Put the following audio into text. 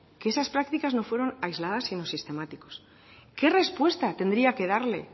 que esas prácticas no quedan aisladas en qué respuesta tendría que darle